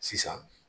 Sisan